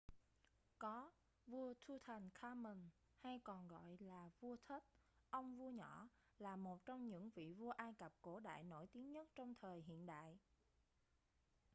có vua tutankhamun hay còn được gọi là vua tut ông vua nhỏ là một trong những vị vua ai cập cổ đại nổi tiếng nhất trong thời hiện đại